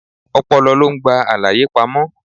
Ọpọlọ lo ń gba àlàyé pamó.